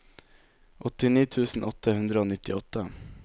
åttini tusen åtte hundre og nittiåtte